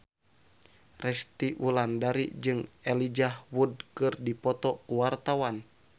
Resty Wulandari jeung Elijah Wood keur dipoto ku wartawan